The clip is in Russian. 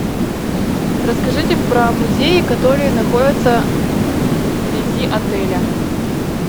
расскажите про музеи которые находятся вблизи отеля